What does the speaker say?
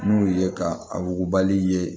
N'u ye ka a wugubali ye